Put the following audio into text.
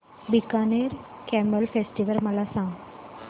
Bikaner camel festival मला सांग